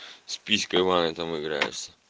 с писькой в ванной там играюсь